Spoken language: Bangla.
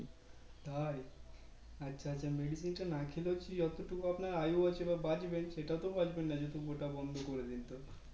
তাই আচ্ছা আচ্ছা Medicine টা না খেলেও কি যত দূর আপনার আয়ু আছে বা বাঁচবেন সেটা কোনো ব্যাপার যদি ওটা বন্ধ করে দিন তো